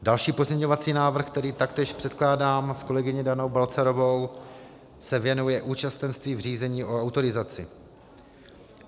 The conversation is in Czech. Další pozměňovací návrh, který taktéž předkládám s kolegyní Danou Balcarovou, se věnuje účastenství v řízení o autorizaci.